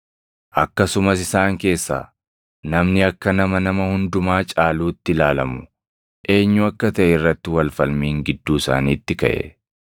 Akkasumas isaan keessaa namni akka nama nama hundumaa caaluutti ilaalamu eenyu akka taʼe irratti wal falmiin gidduu isaaniitti kaʼe.